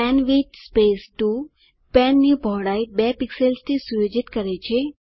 pen width 2 પેનની પહોળાઇ 2 પિક્સેલ્સથી સુયોજિત કરે છે